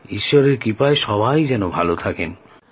ঈশ্বরের কৃপায় সবাই যেন ভাল থাকেন